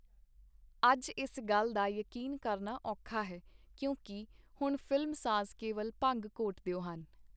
ਅਜ ਇਸ ਗੱਲ ਦਾ ਯਕੀਨ ਕਰਨਾ ਔਖਾ ਹੈ, ਕਿਉਂਕਿ ਹੁਣ ਫ਼ਿਲਮਸਾਜ਼ ਕੇਵਲ ਭੰਗ ਘੋਟਦੇ ਹਨ.